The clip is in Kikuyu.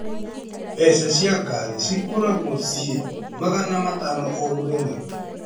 Mbeca cia ngari cikoragwo ciĩ magana matano o mũthenya.